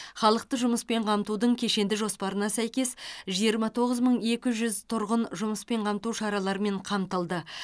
халықты жұмыспен қамтудың кешенді жоспарына сәйкес жиырма тоғыз мың екі жүз тұрғын жұмыспен қамту шараларымен қамтылды